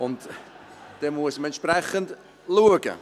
Und dann muss man entsprechend schauen.